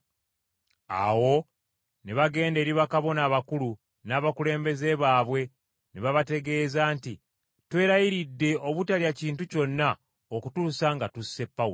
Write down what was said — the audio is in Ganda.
Awo ne bagenda eri bakabona abakulu n’abakulembeze baabwe ne babategeeza nti, “Twerayiridde obutalya kintu kyonna okutuusa nga tusse Pawulo.